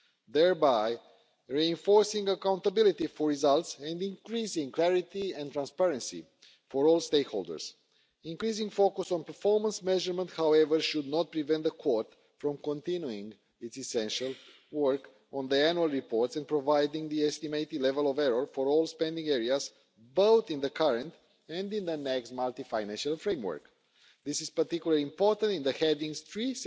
thereby reinforcing accountability for results and increasing clarity and transparency for all stakeholders. Increasing focus on performance measurement, however, should not prevent the Court from continuing its essential work on the annual reports and providing the estimated level of error for all spending areas both in the current and in the next Multiannual Financial Framework. This is particularly important in headings 3